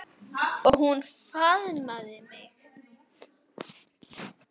Og hún faðmaði mig.